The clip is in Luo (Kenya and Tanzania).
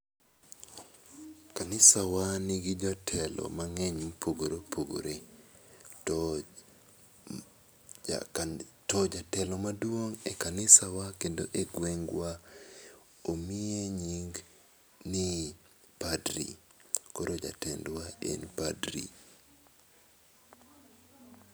Kanisa wa ni gi jotelo mang'eny ma opogore opogore. To jatelo maduong' e kanisa wa kendo e gwengwa omiye nying ni padri. Koro jotwendwa en padri.